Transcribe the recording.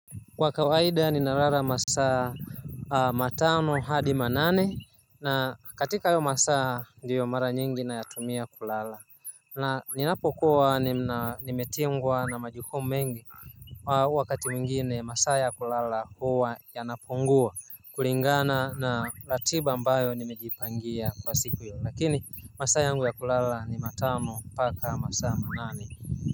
Kwa kawaida ninalalamasaa matano hadi manane na katika hayo masaa ndiyo mara nyingi nayatumia kulala na ninapokuwa nimetingwa na majukumu mengi wakati mwingine masaa ya kulala huwa yanapungua kulingana na ratiba ambayo nimejipangia kwa siku hiyo lakini masaa yangu ya kulala ni matano paka masaa manane.